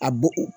A bo o